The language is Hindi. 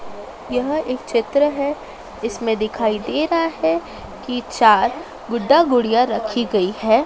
यह एक चित्र है इसमें दिखाई दे रहा है कि चार गुड्डा गुड़िया रखी गई है।